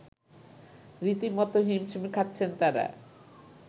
রীতিমত হিমশিম খাচ্ছেন তারা